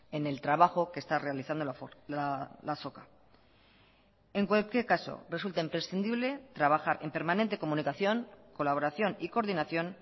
en el trabajo que esta realizando la azoka en cualquier caso resulta imprescindible trabajar en permanente comunicación colaboración y coordinación